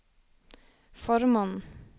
formannen